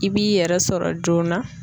I b'i yɛrɛ sɔrɔ joona.